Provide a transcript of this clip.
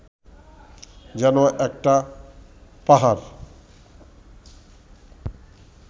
যেন একটা পাহাড়